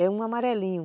É um amarelinho.